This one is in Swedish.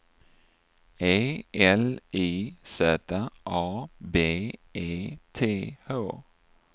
E L I Z A B E T H